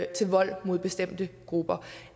til vold mod bestemte grupper